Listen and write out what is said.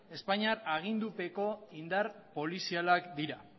espainiar agindupeko indar polizialak dira